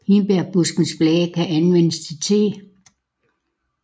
Hindbærbuskens blade kan anvendes til te